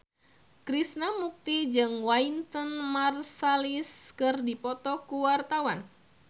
Krishna Mukti jeung Wynton Marsalis keur dipoto ku wartawan